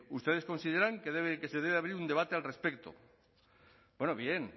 ustedes consideran que se debe abrir un debate al respecto bueno bien